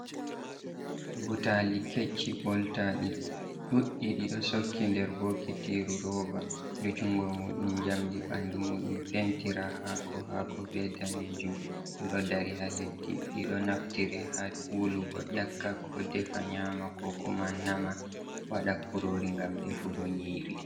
Butaali kecci ɓoltaaɗi ɗuuɗɗi, ɗi ɗo sokki nder bokitiiru roova, ɗo junngo muuɗum njamndi, ɓanndu muuɗum pentira haako haako, be daneejum, ɗi ɗo dari haa leddi, ɗi ɗo naftire haa wulugo ƴakka, ko defa nyaama, ko kuma nama waɗa kuroori ngam defugo nyiiri.